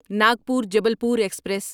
Nagpur Jabalpur express